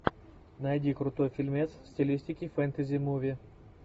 найди крутой фильмец в стилистике фэнтези муви